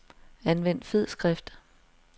Anvend fed skrift.